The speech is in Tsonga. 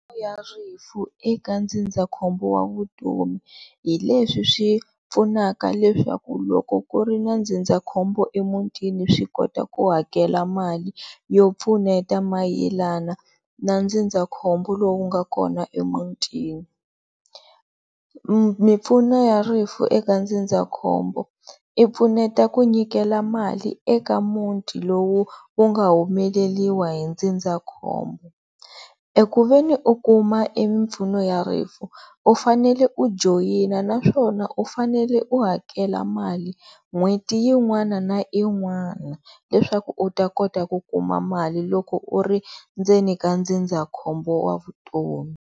ya rifu eka ndzindzakhombo wa vutomi hi leswi swi pfunaka leswaku loko ku ri na ndzindzakhombo emutini swi kota ku hakela mali yo pfuneta mayelana na ndzindzakhombo lowu nga kona emutini. Mimpfuno ya rifu eka ndzindzakhombo i pfuneta ku nyikela mali eka muti lowu wu nga humeleriwa hi ndzindzakhombo eku ve ni u kuma mimpfuno ya rifu u fanele u joyina naswona u fanele u hakela mali n'hweti yin'wana na yin'wana leswaku u ta kota ku kuma mali loko u ri ndzeni ka ndzindzakhombo wa vutomi.